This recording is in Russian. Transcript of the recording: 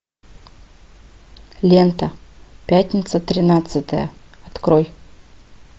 лента пятница тринадцатое открой